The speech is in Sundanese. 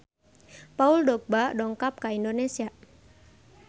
Paul Dogba dongkap ka Indonesia